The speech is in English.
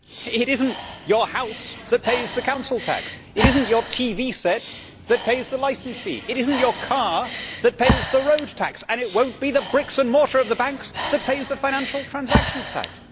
It is not your house that pays the council tax, it is not your TV set that pays the licence fee, it is not your car that pays the road tax and it will not be the bricks and mortar of the banks that pays the financial transaction tax.